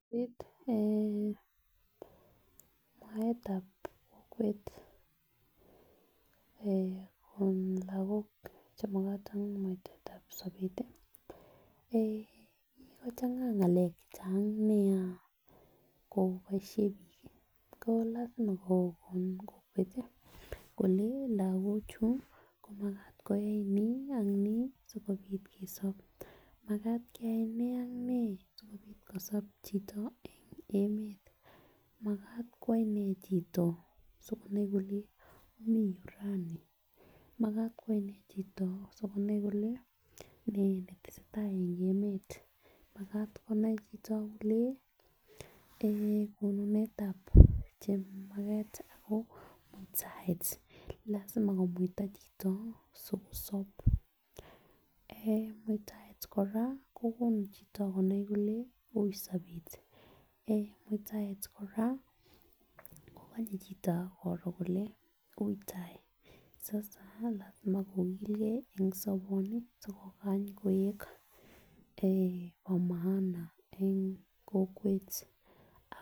Sobet eh mwaetab kokwet eh kokon lokol che tab sober eh kikochanga ngalek chechang nia ko lasima kokon kokwet tii kole lokok chuu komakat koyai ni ak nii sikopit kesob, makat keyai nee ak nee sikopit kosob choto en emetab. Makat kwo inee chito sikonai kole nee netesetai en emetab makat konai chito kole en konunetab chemaket ako muitaet lasima komuita chito sikosob eh muitaet koraa kokonu chito konai kole ui sobet eh muitaet koraa kokonye chito Koro kole ui tai sasa lasima kokilges chito soboni sikokay koik bo maana eh kokwet